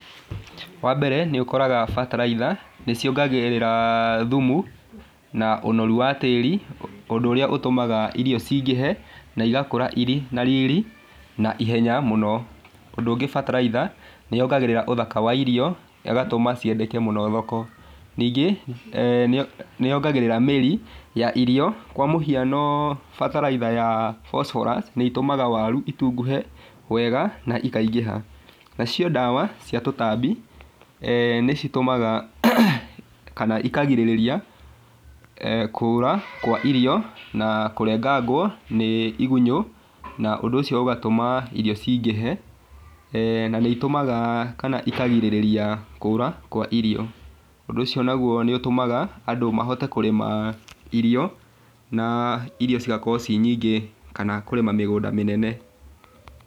Wambere nĩũkoraga bataraitha, nĩciongagĩrĩra thumu, na ũnoru wa tĩri ũndũ ũrĩa n ũtũmaga irio cingĩhe, na igakũra irĩ na riri na ihenya mũno, ũndũ ũngĩ bataraitha nĩyongagĩrĩra ũthaka wa irio, negatũma ciendeke mũno thoko, ningĩ eeh nĩyongagĩrĩra mĩri ya irio kwa mũhiano bataraitha ya Phosphorus nĩitũmaga waru itunguhe wega na ikaingĩha, nacio ndawa cia tũtambi eeh nĩcitũmaga kana ikagirĩrĩria kũra kwa irio na kũrengangwo nĩ igunyũ na ũndũ ũcio ũgatũma irio cingĩhe, eeh na nĩitũmaga kana ikagirĩrĩria kũra kwa irio, ũndũ ũcio naguo nĩũtũmaga andũ mahote kũrĩma irio na irio cigakorwo cirĩ nyingĩ kana kũrĩma mĩgũnda mĩnene.